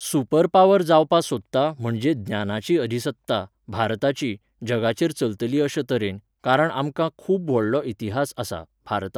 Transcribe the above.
super power जावपा सोदता म्हणजे ज्ञानाची अधिसत्ता, भारताची, जगाचेर चलतली अशे तरेन, कारण आमकां खूब व्हडलो इतिहास आसा, भारताक